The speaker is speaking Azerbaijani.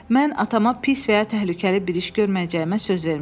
Mən atama pis və ya təhlükəli bir iş görməyəcəyimə söz vermişəm.